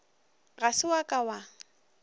ga se wa ka wa